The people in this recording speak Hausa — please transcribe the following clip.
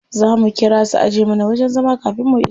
Za mu ƙira su ajiye mana wajen zama kafin mu iso.